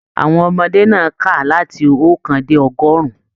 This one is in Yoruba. Àwọn ọmọdé náà ká láti ookan dé ọgọrùn.